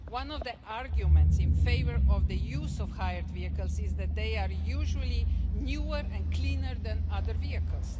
One of the arguments in favour of the use of hired vehicles is that they are usually newer and cleaner than other vehicles.